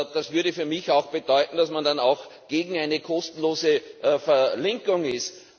Das würde für mich bedeuten, dass man dann auch gegen eine kostenlose Verlinkung ist.